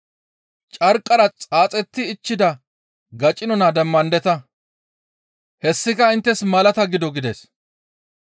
Carqqara xaaxetti ichchida gacino naa demmandeta; hessika inttes malata gido» gides.